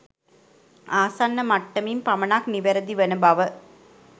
ආසන්න මට්ටමින් පමණක් නිවැරදි වන බව